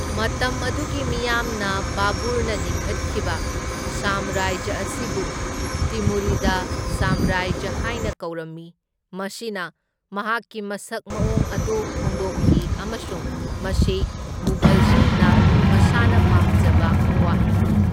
ꯃꯇꯝ ꯑꯗꯨꯒꯤ ꯃꯤꯌꯥꯝꯅ ꯕꯥꯕꯨꯔꯅ ꯂꯤꯡꯈꯠꯈꯤꯕ ꯁꯥꯝꯔꯥꯖ꯭ꯌ ꯑꯁꯤꯕꯨ ꯇꯤꯃꯨꯔꯤꯗ ꯁꯥꯝꯔꯥꯖ꯭ꯌ ꯍꯥꯏꯅ ꯀꯧꯔꯝꯃꯤ, ꯃꯁꯤꯅ ꯃꯍꯥꯛꯀꯤ ꯃꯁꯛ ꯃꯑꯣꯡ ꯑꯗꯨ ꯐꯣꯡꯗꯣꯛꯈꯤ ꯑꯃꯁꯨꯡ ꯃꯁꯤ ꯃꯨꯘꯜꯁꯤꯡꯅ ꯃꯁꯥꯅ ꯄꯥꯝꯖꯕ ꯋꯥꯍꯩꯅꯤ꯫